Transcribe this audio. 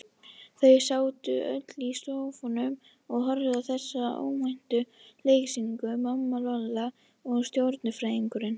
Þau sátu öll í sófanum og horfðu á þessa óvæntu leiksýningu, mamma, Lolla og stjörnufræðingurinn.